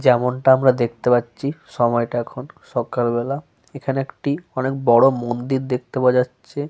যেমনটা আমরা দেখতে পাচ্ছি সময়টা এখন সকাল বেলা। এখানে একটি অনেক বড় মন্দির দেখতে পাওয়া যাচ্ছে।